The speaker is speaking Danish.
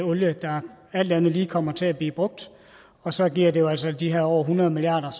olie der alt andet lige kommer til at blive brugt og så giver det jo altså de her over hundrede milliard